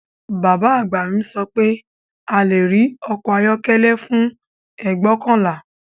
Bàbá àgbà mi sọ pé a lè rí ọkọ̀ ayọ́kọ́lẹ́ fún ẹgbọkanla